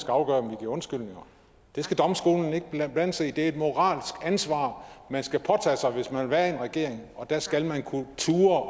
afgøre om vi giver undskyldninger det skal domstolene ikke blande sig i det er et moralsk ansvar man skal påtage sig hvis man vil være i en regering der skal man turde